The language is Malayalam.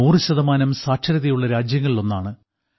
100 ശതമാനം സാക്ഷരതയുള്ള രാജ്യങ്ങളിലൊന്നാണ്